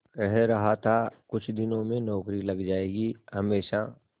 कह रहा था कुछ दिनों में नौकरी लग जाएगी हमेशा